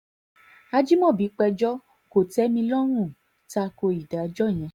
ajimobi péjọ kò tẹ́ mi lọ́rùn ta ko ìdájọ́ yẹn